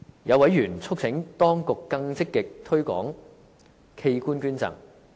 有委員促請當局更積極推廣器官捐贈。